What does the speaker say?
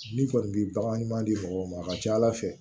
Ni kɔni bi bagan ɲuman di mɔgɔw ma a ka ca ala fɛ